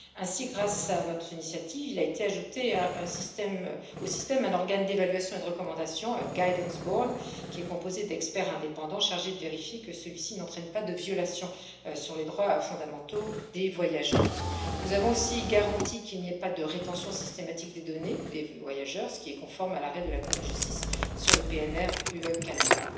Ainsi, grâce à notre initiative, il a été ajouté au système un organe d'évaluation et de recommandation, un guidance board qui est composé d'experts indépendants chargés de vérifier que celui ci n'entraîne pas de violation des droits fondamentaux des voyageurs. Nous avons aussi garanti qu'il n'y ait pas de rétention systématique des données des voyageurs, ce qui est conforme à l'arrêt de la Cour de justice sur l'accord PNR UE Canada.